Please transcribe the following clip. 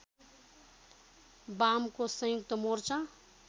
वामको संयुक्त मोर्चा